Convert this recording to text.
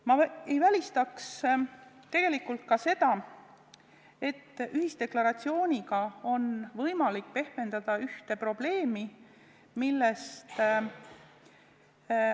Ma ei välistaks tegelikult ka seda, et ühisdeklaratsiooniga on võimalik pehmendada ühte probleemi.